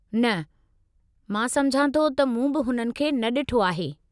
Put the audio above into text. न, मां सम्झां थो त मूं बि हुननि खे न ॾिठो आहे।